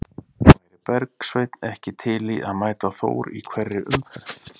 Væri Bergsveinn ekki til í að mæta Þór í hverri umferð?